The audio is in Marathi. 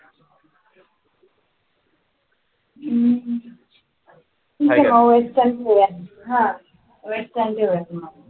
ठीक आहे मग western ठेवूया, हा western ठेवुयात मग.